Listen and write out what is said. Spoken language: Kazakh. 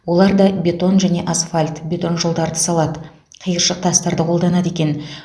олар да бетон және асфальт бетон жолдарды салады қиыршық тастарды қолданады екен